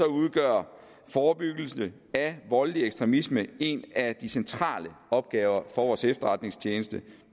udgør forebyggelse af voldelige ekstremisme en af de centrale opgaver for vores efterretningstjeneste